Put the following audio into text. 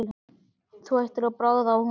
Þú ættir að bragða á honum